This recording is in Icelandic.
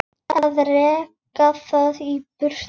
Að reka þig í burtu!